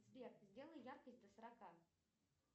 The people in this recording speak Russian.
сбер сделай яркость до сорока